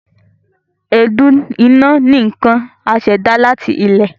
Èédú iná ni nkan asèdá láti ilẹ.